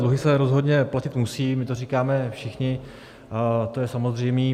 Dluhy se rozhodně platit musí, my to říkáme všichni, to je samozřejmé.